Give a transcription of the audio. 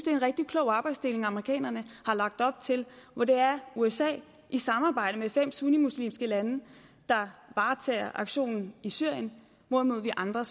er en rigtig klog arbejdsdeling amerikanerne har lagt op til hvor det er usa i samarbejde med fem sunnimuslimske lande der varetager aktionen i syrien hvorimod vi andre